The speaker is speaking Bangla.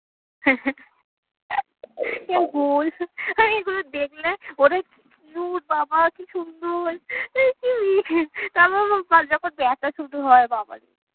আমি এগুলো দেখলে ওরে কি cute বাবা কি সুন্দর তারপর যখন ব্যথা শুরু হয় বাবারে